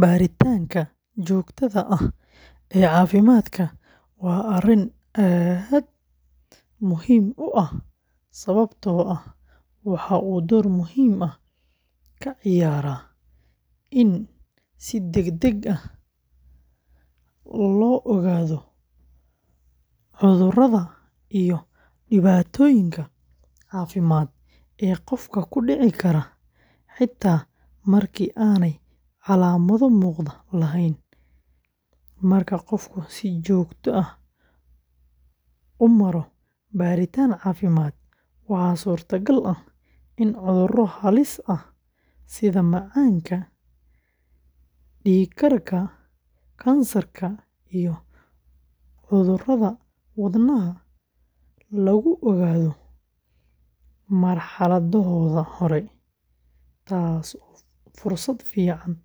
Baaritaanka joogtada ah ee caafimaadka waa arrin aad muhiim u ah sababtoo ah waxa uu door muhiim ah ka ciyaaraa in si degdeg ah loo ogaado cudurrada iyo dhibaatooyinka caafimaad ee qofka ku dhici kara, xitaa marka aanay calaamado muuqda lahayn. Marka qofku si joogto ah u maro baaritaan caafimaad, waxaa suurtagal ah in cudurro halis ah sida macaanka, dhiigkarka, kansarka, iyo cudurrada wadnaha lagu ogaado marxaladahooda hore, taasoo fursad fiican u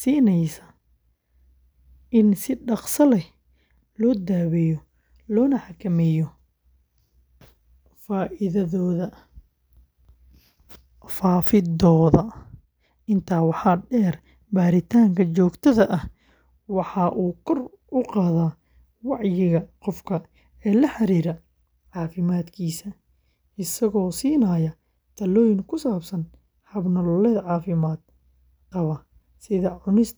siineysa in si dhakhso leh loo daweeyo loona xakameeyo faafiddooda. Intaa waxaa dheer, baaritaanka joogtada ah waxa uu kor u qaadaa wacyiga qofka ee la xiriira caafimaadkiisa, isagoo siinaya talooyin ku saabsan hab nololeed caafimaad qaba sida cunista cunto nafaqo leh.